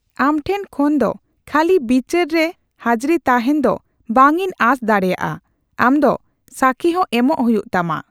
ᱟᱢᱴᱷᱮᱱ ᱠᱷᱚᱱ ᱫᱚ ᱠᱷᱟᱹᱞᱤ ᱵᱤᱪᱟᱹᱨ ᱨᱮ ᱦᱟᱹᱡᱨᱤ ᱛᱟᱸᱦᱮᱱ ᱫᱚ ᱵᱟᱝ ᱤᱧ ᱟᱸᱥ ᱫᱟᱲᱮᱭᱟᱜᱼᱟ, ᱟᱢ ᱫᱚ ᱥᱟᱠᱷᱤ ᱦᱚᱸ ᱮᱢᱚᱜ ᱦᱩᱭᱩᱜ ᱛᱟᱢᱟ ᱾